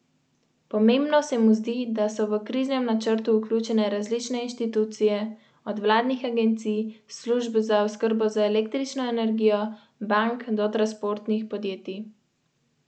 Kitajska ima sicer štiristopenjski sistem opozarjanja.